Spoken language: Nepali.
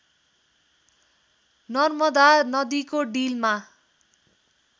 नर्मदा नदीको डिलमा